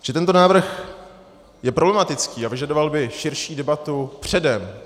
Takže tento návrh je problematický a vyžadoval by širší debatu předem.